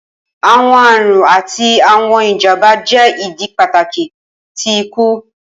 Awọn arun ati awọn ijamba jẹ idi pataki ti iku.